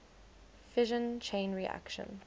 fission chain reaction